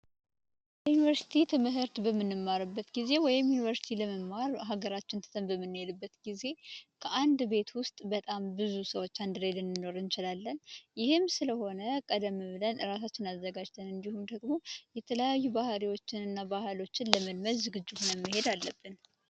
የዩኒቨርስቲ ትምህርት በምንማርበት ጊዜ ወይንም ዩኒቨርሲቲ ለመማር ሀገራችንን ትተን በምንሄድበት ጊዜ ከአንድ ቤት ውስጥ በጣም ብዙ ሰዎች ልንኖር እንችላለን ይህም ስለሆነ ቀደም ብለን እራሳችንን አዘጋጅተን እንዲሁም ደግሞ የተለያዩ ባህሪዎችን እና ባህሎችን ለመልመድ ዝግጁ ሁነን መሄድ አለብን።